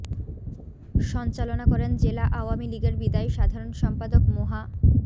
সঞ্চালনা করেন জেলা আওয়ামী লীগের বিদায়ী সাধারণ সম্পাদক মোহা